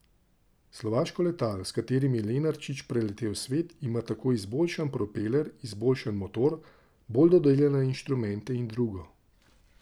Slovaško letalo, s katerim je Lenarčič preletel svet, ima tako izboljšan propeler, izboljšan motor, bolj dodelane inštrumente in drugo.